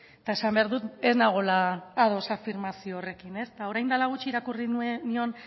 eta esan behar dut ez nagoela ados afirmazio horrekin eta orain dela gutxi irakurri nion